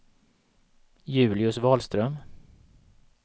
Julius Wahlström